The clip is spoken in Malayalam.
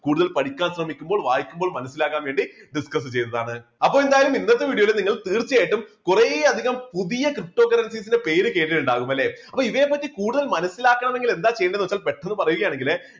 കൂടുതൽ പഠിക്കാൻ ശ്രമിക്കുമ്പോൾ വായിക്കുമ്പോൾ മനസ്സിലാകാൻ വേണ്ടി discuss ചെയ്തതാണ്. അപ്പൊ എന്തായാലും ഇന്നത്തെ video യിൽ നിങ്ങൾ തീർച്ചയായിട്ടും കുറേയധികം പുതിയ ptocurrencies ന്റെ പേര് കേട്ടിട്ടുണ്ടാവും അല്ലേ അപ്പോ ഇതിനെപ്പറ്റി കൂടുതൽ മനസ്സിലാക്കണമെങ്കിൽ എന്താ ചെയ്യേണ്ടതെന്ന് വെച്ചാൽ പെട്ടെന്ന് പറയുകയാണെങ്കില്